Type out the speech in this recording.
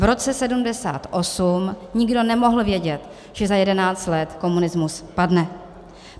V roce 1978 nikdo nemohl vědět, že za jedenáct let komunismus padne.